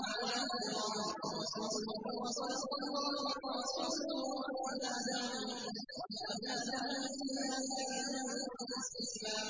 مَا وَعَدَنَا اللَّهُ وَرَسُولُهُ وَصَدَقَ اللَّهُ وَرَسُولُهُ ۚ وَمَا زَادَهُمْ إِلَّا إِيمَانًا وَتَسْلِيمًا